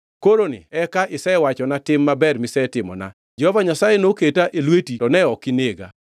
Koroni eka isewachona tim maber misetimona; Jehova Nyasaye noketa e lweti to ne ok inega.